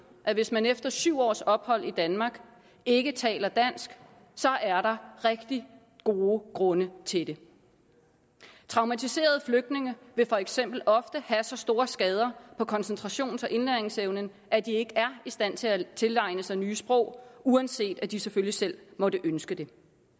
at hvis man efter syv års ophold i danmark ikke taler dansk er der rigtig gode grunde til det traumatiserede flygtninge vil for eksempel ofte have så store skader på koncentrations og indlæringsevnen at de ikke er i stand til at tilegne sig nye sprog uanset at de selvfølgelig selv måtte ønske det